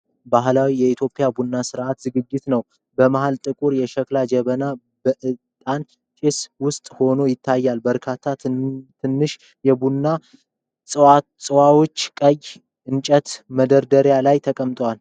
ባህላዊ የኢትዮጵያ ቡና ሥነ ሥርዓት ዝግጅት ነው። በመሀል ጥቁር የሸክላ ጀበናው በእጣን ጭስ ውስጥ ሆኖ ይታያል። በርካታ ትናንሽ የቡና ጽዋዎች ቀይ የእንጨት መደርደሪያ ላይ ተቀምጠዋል።